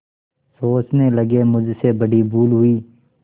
सोचने लगेमुझसे बड़ी भूल हुई